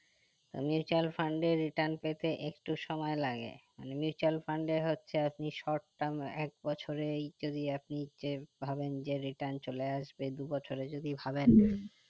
mutual fund এ return পেতে একটু সময় লাগে মানে mutual fund এ হচ্ছে আপনি south term এক বছরেই যদি আপনি যে যদি ভাবেন যে return চলে আসবে দু বছরে যদি ভাবেন